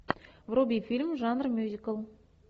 вруби фильм жанр мюзикл